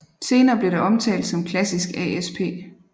Senere blev det omtalt som klassisk ASP